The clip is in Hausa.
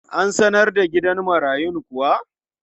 An sanar da gidan marayun kuwa?